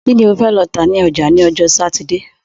Kí ni o fẹ lọ tà ní ọjà ni ọjọ́ Sátidé?